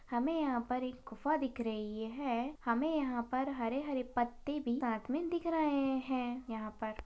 हमे यहा पर एक गुफ़ा दिख रही है हमे यहा पर हरे हरे पत्ते भी साथ मे दिख रहे है यहा पर--